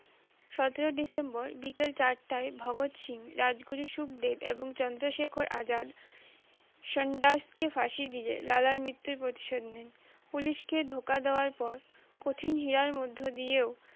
সতেরো ডিসেম্বর বিকাল চারটায় ভগৎ সিং রাজ গুরু সুকদেব এবং চন্দ্র শেখর আজাদ সন্ডার্স কে ফাঁসি দিয়ে লালার মৃতুর প্রতিশোধ নেন police কে ধোকা দেওয়ার পর কঠিন হিয়ার মধ্য দিয়েও